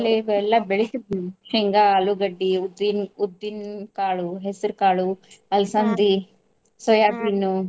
ಇವೆಲ್ಲಾ ಬೆಳಿತಿರ್ತಿವಿ. ಶೇಂಗಾ, ಆಲೂಗಡ್ಡಿ, ಉದ್ದಿನ್ ಉದ್ದಿನ್ ಕಾಳು, ಹೆಸರ್ ಕಾಳು .